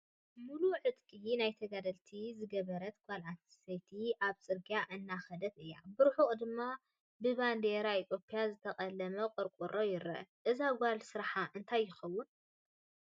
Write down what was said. ሙሉእ ዕጥቂ ናይ ተጋደልቲ ዝገበረት ጓል ኣነስተይቲ ኣብ ፅርግያ እንዳኸደት እያ፡፡ ብርሑቕ ድማ ብባንዴራ ኢ/ያ ዝተቀለመ ቆርቆሮ ይረአ፡፡ እዛ ጓል ስራሓ እንታይ ይኾን?